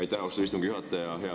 Aitäh, austatud istungi juhataja!